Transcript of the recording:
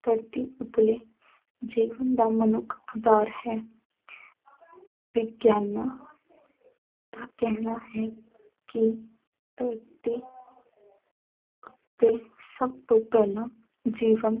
ਧਰਤੀ ਉੱਤਲੇ ਜੀਵਨ ਦਾ ਮਨੁੱਖ ਦਾਰ ਹੈ ਵਿਗਿਆਨਾਂ ਦਾ ਕਹਿਣਾ ਹੈ ਕਿ ਧਰਤੀ ਉੱਤੇ ਸਭ ਤੋਂ ਪਹਿਲਾਂ ਜੀਵਨ